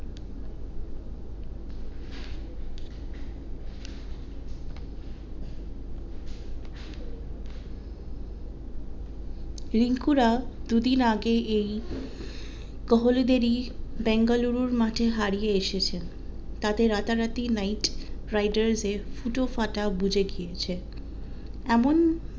রিঙ্কুর দুদিন আগে এই কোহলিদের ই বেঙ্গালুরুর মাঠে হারিয়ে এসেছেন তাতে রাতা রাতি নাইট রাইডার্স এর ফুটো ফাটা বুঝে গিয়েছে এমন